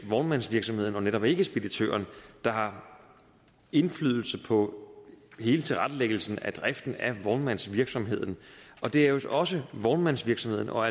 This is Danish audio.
vognmandsvirksomheden og netop ikke speditøren der har indflydelse på hele tilrettelæggelsen af driften af vognmandsvirksomheden det er også også vognmandsvirksomheden og